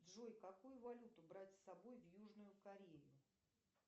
джой какую валюту брать с собой в южную корею